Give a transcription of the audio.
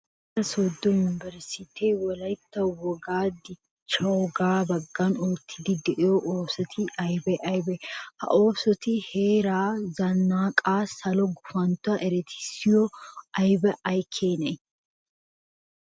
Wolaytta sooddo yunveresttee Wolaytta wogaa dichchiyogaa baggan oottiiddi de'iyo oosoti aybee aybee? Ha oosoti heeraa zannaqaa salo gufanttuwan eretissiya abbee ay keenee?